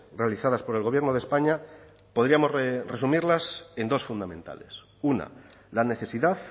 realizadas por el gobierno de españa podríamos resumirlas en dos fundamentales una la necesidad